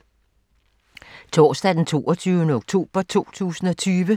Torsdag d. 22. oktober 2020